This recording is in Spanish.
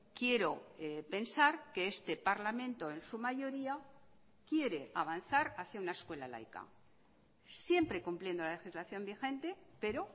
quiero pensar que este parlamento en su mayoría quiere avanzar hacía una escuela laica siempre cumpliendo la legislación vigente pero